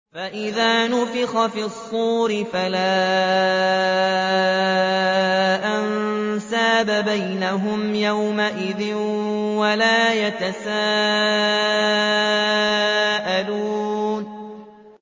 فَإِذَا نُفِخَ فِي الصُّورِ فَلَا أَنسَابَ بَيْنَهُمْ يَوْمَئِذٍ وَلَا يَتَسَاءَلُونَ